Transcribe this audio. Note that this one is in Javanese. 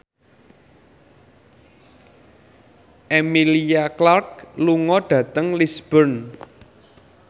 Emilia Clarke lunga dhateng Lisburn